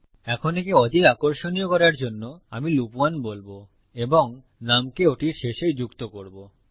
এখন একে অধিক আকর্ষণীয় করার জন্য আমি লুপ 1 বলবো এবং নুম কে ওটির শেষে যুক্ত করবো